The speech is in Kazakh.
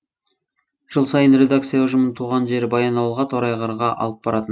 жыл сайын редакция ұжымын туған жері баянауылға торайғырға алып баратын